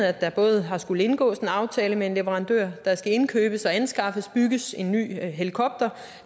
at der både har skullet indgås en aftale med en leverandør at der skal indkøbes anskaffes og bygges en ny helikopter